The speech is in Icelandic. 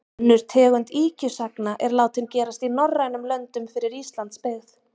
Önnur tegund ýkjusagna er látin gerast í norrænum löndum fyrir Íslands byggð.